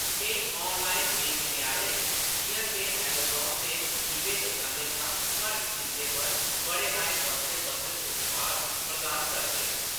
केईं ऑनलाइन बेचने आह्‌‌ले, जिʼयां जे अमेज़ान ते ईबेऽ, दुकानें शा घट्ट कीमतें पर बड़े हारे बक्खरे-बक्खरे उत्पाद प्रदान करदे न।